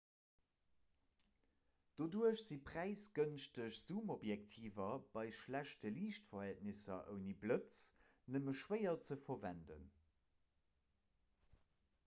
doduerch si präisgënschteg zoomobjektiver bei schlechte liichtverhältnisser ouni blëtz nëmme schwéier ze verwenden